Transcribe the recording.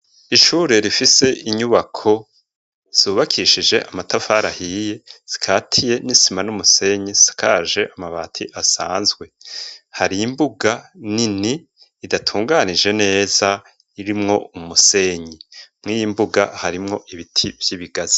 Ishure rifise inyubako, zubakishije Amatafari ahiye , zikatiye n'isima n'umusenyi ,hasakaje Amabati asanzwe, hari imbuga nini idatunganije neza, irimwo umusenyi, mwiyimbuga harimwo ibiti vy'ibigaza